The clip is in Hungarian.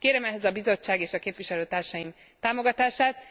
Kérem ehhez a Bizottság és képviselőtársaim támogatást.